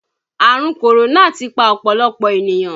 Àrùn kòrónà ti pa ọ̀pọ̀lọpọ̀ ènìyàn